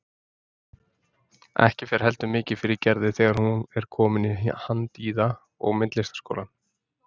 Ekki fer heldur mikið fyrir Gerði þegar hún er komin í Handíða- og myndlistaskólann.